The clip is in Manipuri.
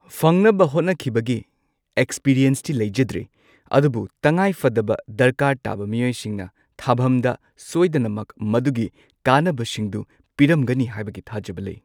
ꯐꯪꯅꯕ ꯍꯣꯠꯅꯈꯤꯕꯒꯤ ꯑꯦꯛꯁꯄꯤꯔꯤꯌꯦꯟꯁꯇꯤ ꯂꯩꯖꯗ꯭ꯔꯦ ꯑꯗꯨꯕꯨ ꯇꯉꯥꯏꯐꯗꯕ ꯗꯔꯀꯥꯔ ꯇꯥꯕ ꯃꯤꯑꯣꯏꯁꯤꯡꯅ ꯊꯥꯕꯝꯗ ꯁꯣꯏꯗꯅꯃꯛ ꯃꯗꯨꯒꯤ ꯀꯥꯟꯅꯕꯁꯤꯡꯗꯨ ꯄꯤꯔꯝꯒꯅꯤ ꯍꯥꯏꯕꯒꯤ ꯊꯥꯖꯕ ꯂꯩ꯫